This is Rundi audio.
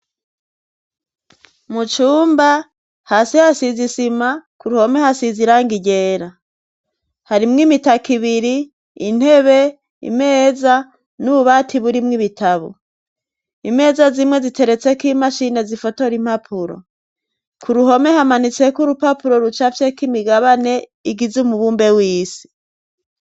Mucumba hasi hasizisima ku ruhome hasiza iranga iryera harimwo imitaka ibiri intebe imeza n'ububati burimwo ibitabu imeza zimwe ziteretseko imashine zifotora impapuro ku ruhome hamanitseko urupapuro ruca ve kimigabane igizi mu bumbe w'isi.